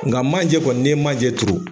Nka manjɛ kɔni ni ye manjɛ turu.